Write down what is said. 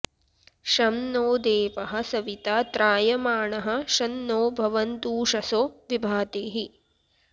शं नो देवः सविता त्रायमाणः शं नो भवन्तूषसो विभातीः